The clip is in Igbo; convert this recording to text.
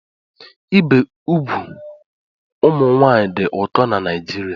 Ibi úgwù ụmụ nwanyị dị ụkọ na Naijiria